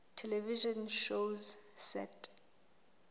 television shows set